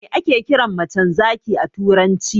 Me ake kiran macen zaki a turanci?